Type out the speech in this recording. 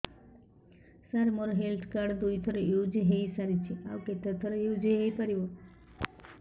ସାର ମୋ health card ଦୁଇ ଥର ୟୁଜ଼ ହୈ ସାରିଛି ଆଉ କେତେ ଥର ୟୁଜ଼ ହୈ ପାରିବ